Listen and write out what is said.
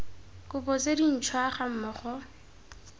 kopo tse dintšhwa ga mmogo